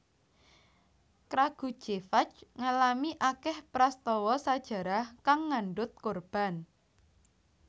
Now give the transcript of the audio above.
Kragujevac ngalami akèh prastawa sajarah kang ngandhut korban